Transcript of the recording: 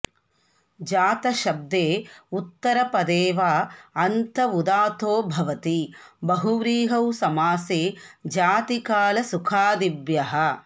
जातशब्दे उत्तरपदे वा अन्त उदात्तो भवति बहुव्रीहौ समासे जातिकालसुखादिभ्यः